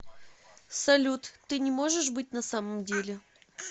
салют ты не можешь быть на самом деле